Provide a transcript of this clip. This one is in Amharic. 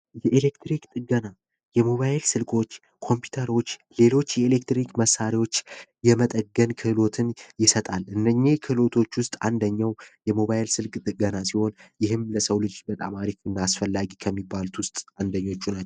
የኤሌክትሪክ ጥገና የሞባይል ስል ክ ሌሎች የኤሌክትሪክ መሳሪያዎች የመጠገን ክህሎትን ይሰጣል እነኚ ክልሎች ውስጥ አንደኛው የሞባይል ስልክ ጥገና ሲሆን ለሰው ልጅ በጣም እናስፈላጊ ከሚባሉት ውስጥ አንደኞቹ ናቸው